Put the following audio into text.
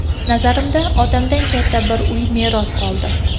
Nazarimda, otamdan katta bir uy meros qoldi.